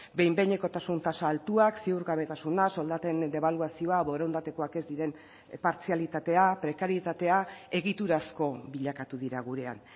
behin behinekotasun tasa altuak ziurgabetasuna soldaten debaluazioa borondatekoak ez diren partzialitatea prekarietatea egiturazko bilakatu dira gurean